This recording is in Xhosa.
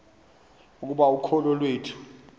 ukuba ukholo iwethu